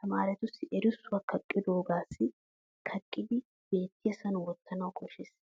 Tamaaretussi erissuwa xaafidoogas kaqqiiddi beettiyasan wottanawu koshshes.